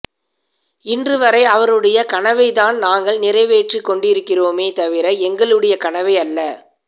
இன்று வரை அவருடைய கனவைத்தான் நாங்கள் நிறைவேற்றிக்கொண்டிருக்கிறோமே தவிர எங்களுடைய கனவை அல்ல